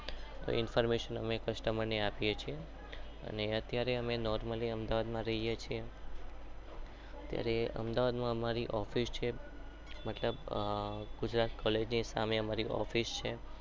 Information અમે customer ને આપીએ છીએ.